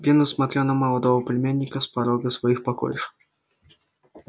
венус смотрел на молодого племянника с порога своих покоев